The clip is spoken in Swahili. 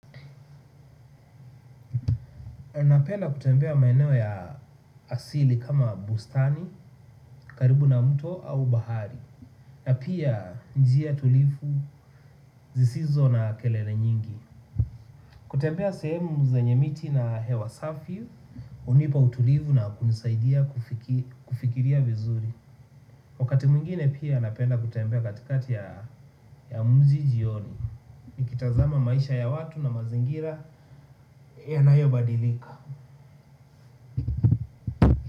Napenda kutembea maeneo ya asili kama bustani, karibu na mto au bahari na pia njia tulivu zisizo na kelele nyingi kutembea sehemu zenye miti na hewa safi hunipa utulivu na kunisaidia kufikiria vizuri wakati mwingine pia napenda kutembea katikati ya mji jioni nikitazama maisha ya watu na mazingira yanayobadilika.